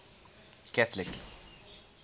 catholic